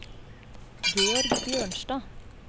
Georg Bjørnstad